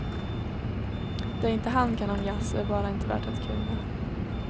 Det inte han kan om jazz är bara inte värt att kunna.